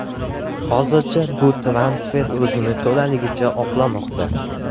Hozircha bu transfer o‘zini to‘laligicha oqlamoqda.